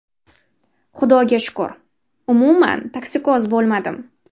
Xudoga shukur, umuman toksikoz bo‘lmadim.